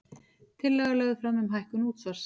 Tillaga lögð fram um hækkun útsvars